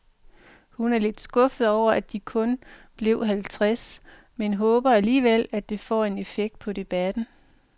Hun er lidt skuffet over, at de kun blev halvtreds, men håber alligevel, at det får en effekt på debatten.